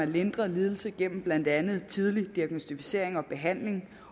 lindre lidelse gennem blandt andet tidlig diagnosticering og behandling